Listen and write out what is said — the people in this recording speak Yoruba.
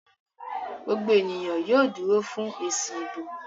gbogbo ènìyàn yóò dúró fún èsì ìbò